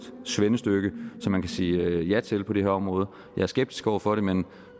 svendestykke som man kan sige ja til på det her område jeg er skeptisk over for det men